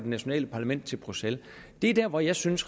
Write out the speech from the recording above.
nationale parlament til bruxelles er der hvor jeg synes